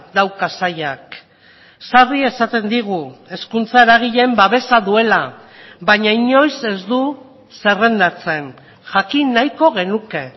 dauka sailak sarri esaten digu hezkuntza eragileen babesa duela baina inoiz ez du zerrendatzen jakin nahiko genuke